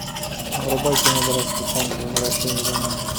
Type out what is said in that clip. врубай кино братство танца возвращение домой